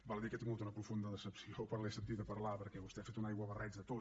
val a dir que he tingut una profunda decepció quan l’he sentit a parlar perquè vostè ha fet un aiguabarreig de tot